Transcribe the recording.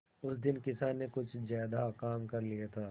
उस दिन किसान ने कुछ ज्यादा काम कर लिया था